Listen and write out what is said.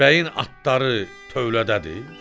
"Bəyin atları tövlədədir?"